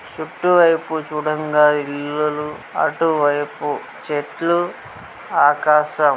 చుట్టూ వైపు చూడంగా ఇల్లులు అటు వైపు చెట్లు ఆకాశం.